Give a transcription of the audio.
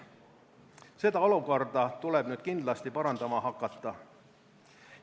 Seda olukorda tuleb nüüd kindlasti parandama hakata.